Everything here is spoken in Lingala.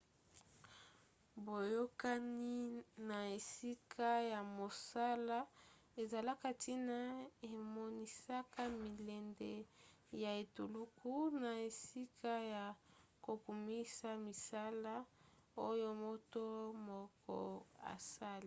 boyokani na esika ya mosala ezalaka ntina emonisaka milende ya etuluku na esika ya kokumisa misala oyo moto moko asali